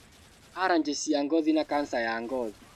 Aranjĩ cia ngothi na kanca ya ngothi